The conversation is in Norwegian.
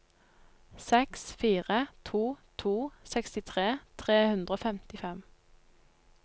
seks fire to to sekstitre tre hundre og femtifem